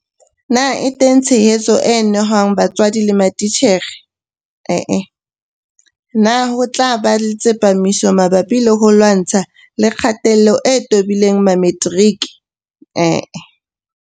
Na e teng tshehetso e nehwang batswadi le matitjhere? Ee. Na ho tla ba le tsepamiso mabapi le ho lwantshana le kgatello e tobileng Mametiriki? Ee.